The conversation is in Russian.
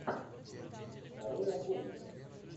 нарой охотника